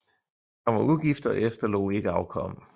Han var ugift og efterlod ikke afkom